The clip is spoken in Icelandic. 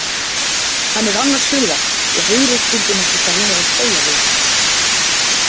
Hann er annars hugar og heyrir stundum ekki hvað hún er að segja við hann.